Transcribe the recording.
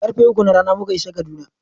Karfe uku na rana muka isa Kaduna.